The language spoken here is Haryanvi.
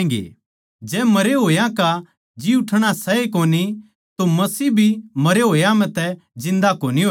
जै मरे होया का जी उठणा सै ए कोनी तो मसीह भी मरे होया म्ह तै जिन्दा कोनी होया